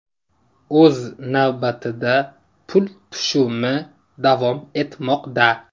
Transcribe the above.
O‘z navbatida pul tushumi davom etmoqda.